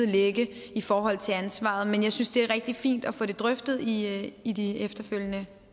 ligge i forhold til ansvaret men jeg synes det er rigtig fint at få det drøftet i i de efterfølgende